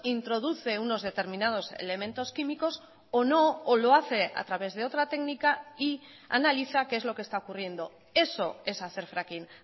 introduce unos determinados elementos químicos o no o lo hace a través de otra técnica y analiza qué es lo que está ocurriendo eso es hacer fracking